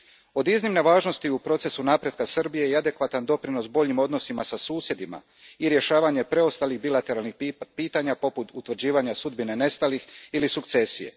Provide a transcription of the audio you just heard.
Od iznimne važnosti u procesu napretka Srbije je i adekvatan doprinos boljim odnosima sa susjedima i rješavanje preostalih bilateralnih pitanja, poput utvrđivanja sudbine nestalih ili sukcesije.